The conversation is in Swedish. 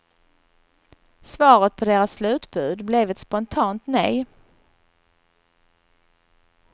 Svaret på deras slutbud blev ett spontant nej.